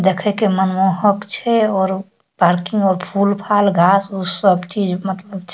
देखे के मनमोहक छै और उ पार्किंग मे फूल-फाल घास-उस चीज मतलब छै।